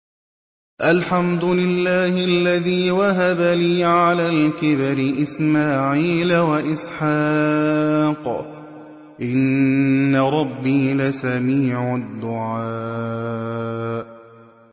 الْحَمْدُ لِلَّهِ الَّذِي وَهَبَ لِي عَلَى الْكِبَرِ إِسْمَاعِيلَ وَإِسْحَاقَ ۚ إِنَّ رَبِّي لَسَمِيعُ الدُّعَاءِ